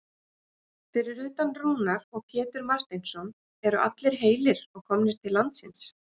Fyrir utan Rúnar og Pétur Marteinsson eru allir heilir og komnir til landsins?